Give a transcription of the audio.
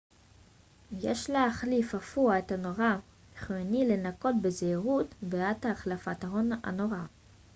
יש להחליף אפוא את הנורה חיוני לנקוט בזהירות בעת החלפת הנורה